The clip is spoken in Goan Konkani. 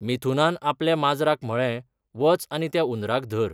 मिथुनान आपल्या माजराक म्हळें, वच आनी त्या उंदराक धर.